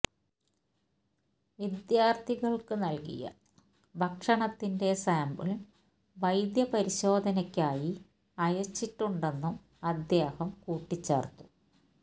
വിദ്യാര്ഥികള്ക്ക് നല്കിയ ഭക്ഷണത്തിന്റെ സാമ്പിള് വൈദ്യ പരിശോധനക്കായി അയച്ചിട്ടുണ്ടെന്നും അദ്ദേഹം കൂട്ടിച്ചേര്ത്തു